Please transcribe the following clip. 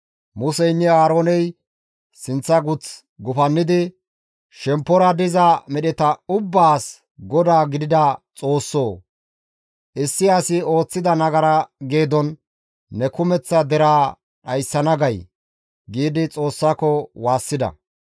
Museynne Aarooney sinththa guth gufannidi, «Shemppora diza medheta ubbaas Godaa gidida Xoossoo! Issi asi ooththida nagara geedon neni kumeththa deraa dhayssana gay?» giidi Xoossako waassida.